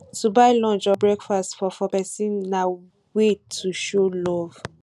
to buy lunch or breakfast for for persin na wey to show love